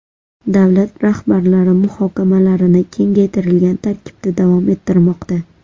Davlat rahbarlari muhokamalarni kengaytirilgan tarkibda davom ettirmoqda.